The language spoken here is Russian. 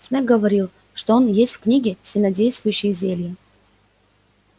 снегг говорил что он есть в книге сильнодействующие зелья